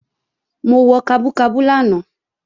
Mo wọ kabú kabú lánàá